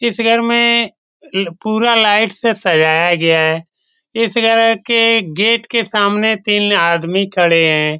इस घर में ल-पूरा लाइट से सजाया गया है इस घर के गेट के सामने तीन आदमी खड़े है।